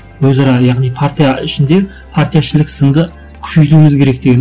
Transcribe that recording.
өзара яғни партия ішінде партия ішілік сынды күшейтуіміз керек деген